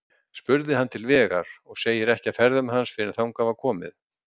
Spurði hann til vegar, og segir ekki af ferðum hans fyrr en þangað var komið.